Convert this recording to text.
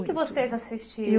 O que vocês assistiam?